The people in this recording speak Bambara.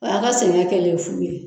O y'a ka sɛngɛ kɛlen ye fu ye.